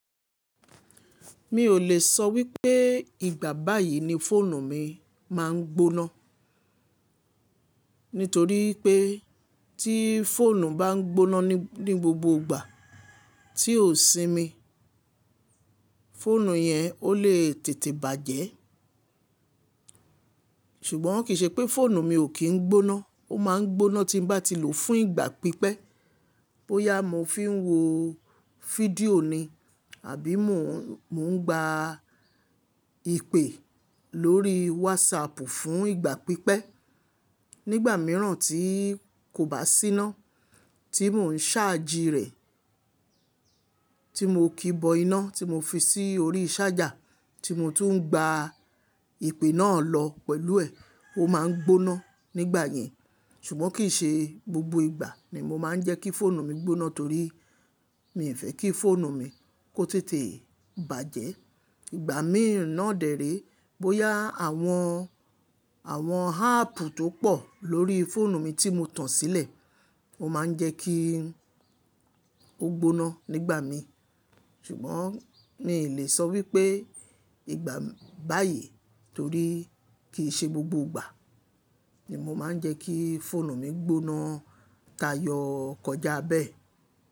Mi ò lè sọ wípé ìgbà báyìí ni fóònù mi máa ń gbóná, nítorí pé tí fóònù bá ń gbóná ní gbogbo ìgbà tí ò sí mi, fóònù yẹn ó lè tètè bàjẹ́. Ṣùgbọ́n kì í ṣe pé fóònù mi ò kí ń gbóná, ó máa ń gbóná tí bá ti lò ó fún ìgbà pípẹ́, bóyá mo fi ń wo fídíò ni àbí mò ń gba ìpè lórí WhatsApp fún ìgbà pípẹ́. Nígbà mìíràn tí kò bá sí iná, tí mò ń ṣáàjì rẹ̀, tí mo kì bọ iná tí mo fi sí orí ṣájà, tí mo tún ń gba ìpè náà lọ pẹ̀lú ẹ̀, ó máa ń gbóná nígbà yẹn. Ṣùgbọ́n kì í ṣe gbogbo ìgbà ni mo máa ń jẹ́ kí fóònù mi gbóná torí mi ò fẹ́ kí fóònù mi kó tètè bàjẹ́. Ìgbà míràn dèré, bóyá àwọn, àwọn áàpù tó pọ̀ lórí fóònù mi tí mo tan sílẹ̀, ó máa ń jẹ́ kí ó gbóná nígbà mi. Ṣùgbọ́n mi ò lè sọ wípé ìgbà báyìí torí kì í ṣe gbogbo ìgbà ni mo máa ń jẹ́ kí fóònù mi gbóná. Tá yọ kọjá bẹ́ẹ̀